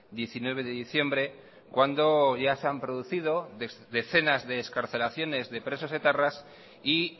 diecinueve de diciembre cuando ya se han producido decenas de excarcelaciones de presos etarras y